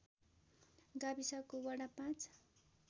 गाविसको वडा ५